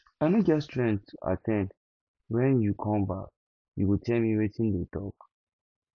i i no get strength to at ten d wen you come back you go tell me wetin dey talk